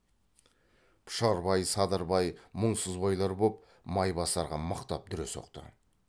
пұшарбай садырбай мұңсызбайлар боп майбасарға мықтап дүре соқты